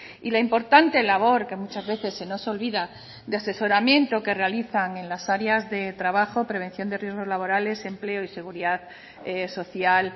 y la importante labor que muchas veces se nos olvida de asesoramiento que realizan en las áreas de trabajo prevención de riesgos laborales empleo y seguridad social